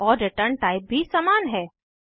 और return type भी समान है